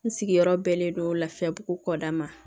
N sigiyɔrɔ bɛnnen don lafiyabugu kɔda ma